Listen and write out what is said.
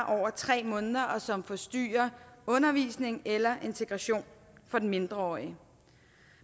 over tre måneder og som forstyrrer undervisning eller integration af den mindreårige